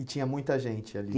E tinha muita gente ali.